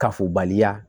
Kafobaliya